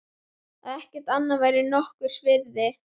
Að ekkert annað væri henni nokkurs virði.